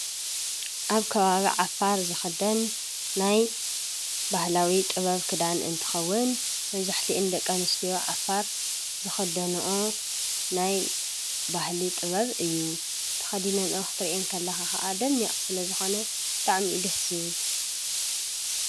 ኣብ ከባቢ ዓፋር ዝኽደን ናይ ባህላዊ ጥበብ ክዳን እንትኸዉን መብዛሕቲአን ደቂ ኣንስትዮ ዓፋር ዝኽደንኦ ናይ ባህሊ ጥበብ እዩ ተከዲነንኦ ክትሪአን ከለኻ ኸኣ ደሚቅ ስለ ዝኾነ ብጣዕሚ እዩ ደስ ዝብል።